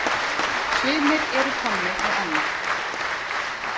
Sumir eru Tommi og Anna.